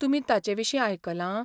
तुमी ताचे विशीं आयकलां?